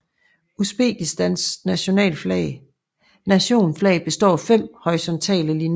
Usbekistans Nationaflag består af 5 horisontale linjer